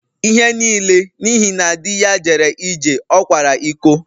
Ihe niile n’ihi na di ya jere ije, ọ kwara iko